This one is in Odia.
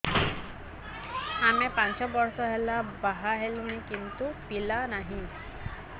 ଆମେ ପାଞ୍ଚ ବର୍ଷ ହେଲା ବାହା ହେଲୁଣି କିନ୍ତୁ ପିଲା ନାହିଁ